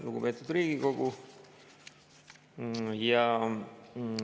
Lugupeetud Riigikogu!